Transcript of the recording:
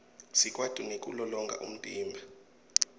sikwati nekulolonga umtimba